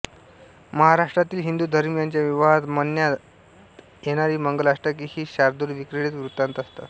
महाराष्ट्रातील हिंदुधर्मीयांच्या विवाहांत म्हणण्यात येणारी मंगलाष्टके ही शार्दूलविक्रीडित वृत्तात असतात